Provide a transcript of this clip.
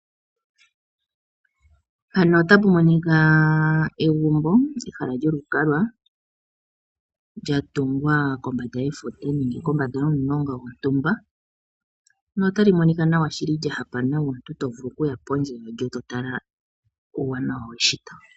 Mpano otapu monika egumbo ehala lyolukalwa. Lyatungwa kombanda yefuta nenge kombanda yomulonga gwontumba, notali monika nawa shili lyahapa nawa. Omuntu to vulu okuya pondje nde totala uuwanawa weshito.